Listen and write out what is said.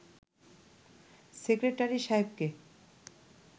secretary সাহেবকে